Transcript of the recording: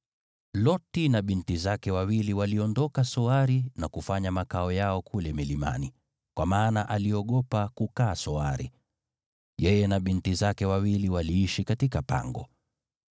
Loti na binti zake wawili waliondoka Soari na kufanya makao yao kule milimani, kwa maana aliogopa kukaa Soari. Yeye na binti zake wawili waliishi katika pango.